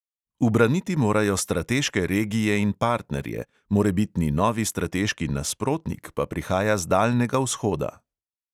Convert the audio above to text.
Ubraniti morajo strateške regije in partnerje, morebitni novi strateški nasprotnik pa prihaja z daljnega vzhoda.